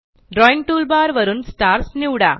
drawing toolbar वरून stars निवडा